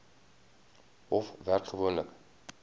hof werk gewoonlik